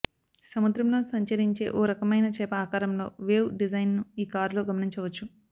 సముద్రంలో సంచరించే ఓ రకమైన చేప ఆకారంలో వేవ్ డిజైన్ను ఈ కారులో గమనించవచ్చు